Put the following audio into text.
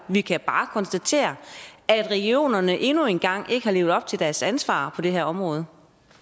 vi kan bare konstatere at regionerne endnu en gang ikke har levet op til deres ansvar på det her område